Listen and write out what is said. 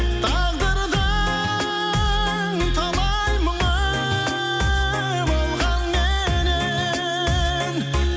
тағдырдың талай мұңы болғанменен